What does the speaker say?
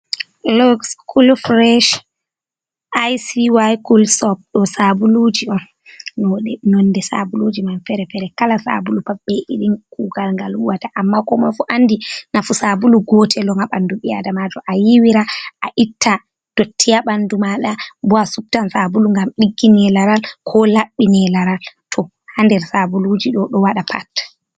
Lok col frash icwi cul sopt, ɗo sabuluji on nonde sabuluji mam fere-fere, kala sabulu pad be irin kugal gal huwata, amma komoi fu andi nafu sabulu gotel on ha ɓanɗu ɓi adamajo, a yiwira a itta dotti ha ɓanɗu maɗa, bo a subtan sabulu ngam ɗiggine laral, ko laɓɓi ne laral, to ha nder sabuluji ɗo, ɗo waɗa pat.